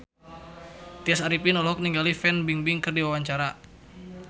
Tya Arifin olohok ningali Fan Bingbing keur diwawancara